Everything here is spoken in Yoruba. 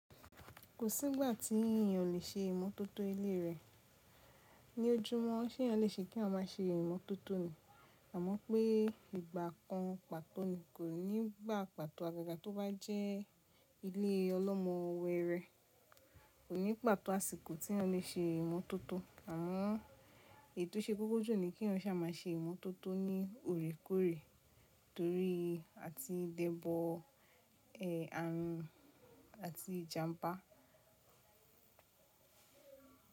Kò sí ìgbà tí èèyàn lè ṣe ìmótótó ilé rẹ̀. Ni ojúmọ́ ṣé èèyàn lè ṣe kí a má ṣe ìmótótó ni, àmọ́ pé ìgbà kan pàtó ni kò ní gba pàtó. Àgàga tó bá jẹ́ ilé ọlọ́mọ ọwọ́ rẹ̀, kò ní pàtó àsìkò tí ẹ lè ṣe ìmótótó. Àwọn ètò ṣe kókó jù ni kí wọn ṣa má ṣe ìmótótó ní òrékórè torí à ti dẹ́bọ̀ ẹ àárín àti ìjàmpá.